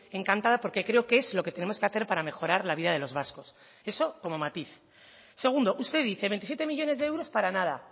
encantada porque creo que es lo que tenemos que hacer para mejorar la vida de los vascos eso como matiz segundo usted dice veintisiete millónes de euros para nada